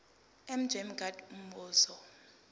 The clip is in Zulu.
mj mngadi umbuzo